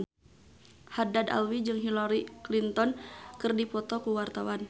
Haddad Alwi jeung Hillary Clinton keur dipoto ku wartawan